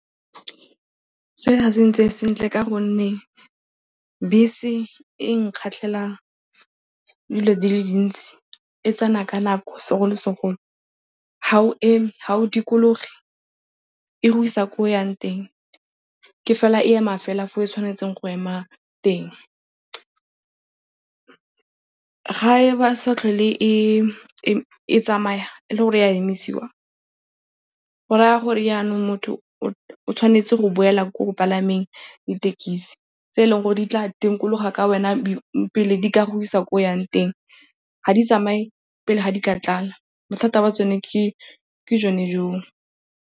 Se ga se ntsee sentle ka gonne bese e nkgatlhela dilo di le dintsi. E tsena ka nako segolo-segolo. Ga o eme, ga o dikologe, e go isa ko o yang teng. Ke fela e ema fela fa e tshwanetseng go ema teng. Ga e ba sa tlhole e tsamaya e le gore e a emisiwa go raya gore jaanong motho o tshwanetse go boela ko go palameng dithekisi tse eleng gore di tla dikologa ka wena pele di ka go isa ko o yang teng. Ga di tsamaye pele ga di ka tlala. Bothata ba tsone ke jone joo.